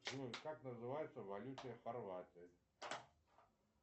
джой как называется валюта хорватии